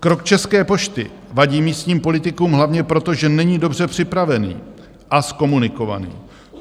Krok České pošty vadí místním politikům hlavně proto, že není dobře připravený a zkomunikovaný.